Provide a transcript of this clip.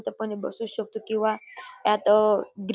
इथं आपण बसू शकतो किंवा त्यात --